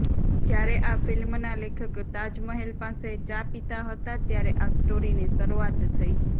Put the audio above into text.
જ્યારે આ ફિલ્મના લેખક તાજ મહેલ પાસે ચા પિતા હતા ત્યારે આ સ્ટોરીની શરૂઆત થઇ